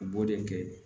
U b'o de kɛ